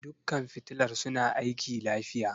Dukkan fitilar suna aiki lafiya.